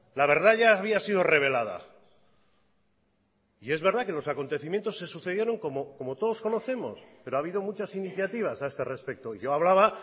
la verdad ya había sido rebelada y es verdad que los acontecimientos se sucedieron como todos conocemos pero ha habido muchas iniciativas a este respecto yo hablaba